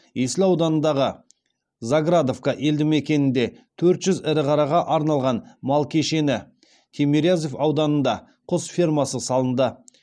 есіл ауданындағы заградовка елді мекенінде төрт жүз ірі қараға арналған мал кешені тимирязев ауданында құс фермасы салынды